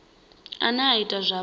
ane a ita uri vha